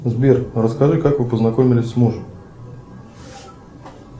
сбер расскажи как вы познакомились с мужем